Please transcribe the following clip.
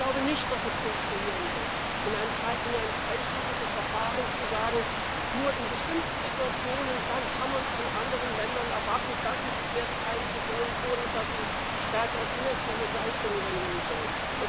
Ich glaube nicht, dass es funktionieren wird, in einem dreistufigen Verfahren zu sagen Nur in bestimmten Situationen kann man von anderen Ländern erwarten, dass sie sich mehr beteiligen sollen oder dass sie stärkere finanzielle Leistungen übernehmen sollen.